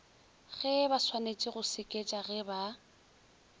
gebaswanetše go seketša ge ba